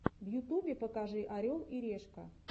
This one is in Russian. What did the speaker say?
в ютубе покажи орел и решка